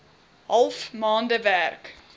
half maande werk